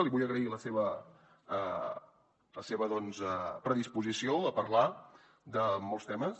li vull agrair la seva doncs predisposició a parlar de molts temes